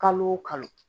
Kalo o kalo